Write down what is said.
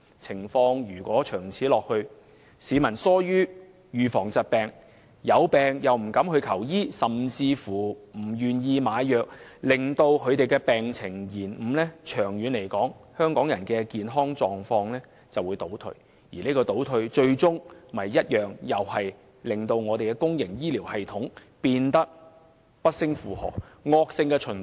長此下去，市民逐漸疏於預防疾病，又或有病不敢求醫，甚至不願意買藥，致使病情延誤，久而久之，香港人的健康狀況便會倒退，因而需要更多醫療服務開支這個倒退，最終會令公營醫療系統更加不勝負荷，造成惡性循環。